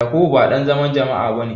Yakubu ba dan zaman jama'a bane.